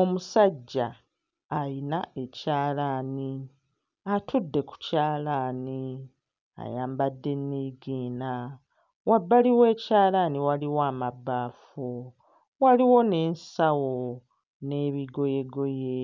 Omusajja ayina ekyalaani, atudde ku kyalaani ayambadde nniigiina, wabbali w'ekyalaani waliwo amabbaafu, waliwo n'ensawo n'ebigoyegoye,